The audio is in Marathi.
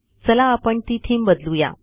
चला आपण ती थीम बदलू या